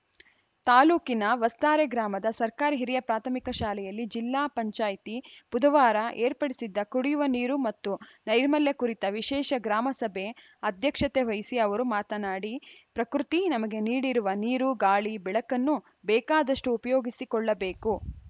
ತಾಲೂಕಿನ ವಸ್ತಾರೆ ಗ್ರಾಮದ ಸರ್ಕಾರಿ ಹಿರಿಯ ಪ್ರಾಥಮಿಕ ಶಾಲೆಯಲ್ಲಿ ಜಿಲ್ಲಾ ಪಂಚಾಯ್ತಿ ಬುಧವಾರ ಏರ್ಪಡಿಸಿದ್ದ ಕುಡಿಯುವ ನೀರು ಮತ್ತು ನೈರ್ಮಲ್ಯ ಕುರಿತ ವಿಶೇಷ ಗ್ರಾಮ ಸಭೆ ಅಧ್ಯಕ್ಷತೆ ವಹಿಸಿ ಅವರು ಮಾತನಾಡಿ ಪ್ರಕೃತಿ ನಮಗೆ ನೀಡಿರುವ ನೀರು ಗಾಳಿ ಬೆಳಕನ್ನು ಬೇಕಾದಷ್ಟು ಉಪಯೋಗಿಸಿಕೊಳ್ಳಬೇಕು